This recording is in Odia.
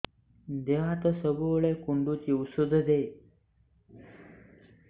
ଦିହ ହାତ ସବୁବେଳେ କୁଣ୍ଡୁଚି ଉଷ୍ଧ ଦେ